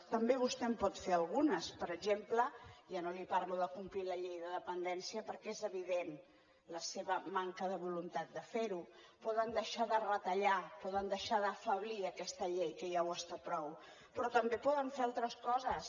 també vostè en pot fer algunes per exemple ja no li parlo de complir la llei de dependència perquè és evident la seva manca de voluntat de fer ho poden deixar de retallar poden deixar d’afeblir aquesta llei que ja ho està prou però també poden fer altres coses